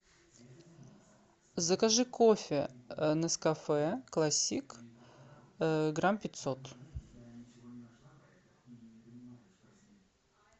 закажи кофе нескафе классик грамм пятьсот